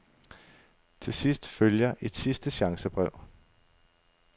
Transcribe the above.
Til sidst følger et sidste chancebrev.